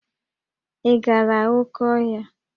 Ị gara oké ọhịa?